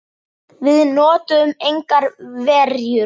Við notuðum engar verjur.